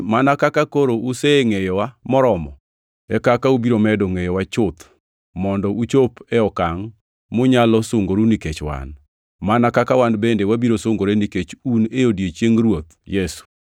mana kaka koro usengʼeyowa moromo, e kaka ubiro medo ngʼeyowa chuth, mondo uchop e okangʼ munyalo sungoru nikech wan, mana kaka wan bende wabiro sungore nikech un e odiechieng Ruoth Yesu.